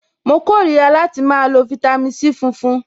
Mo kórìíra láti máa lo fitami C funfun.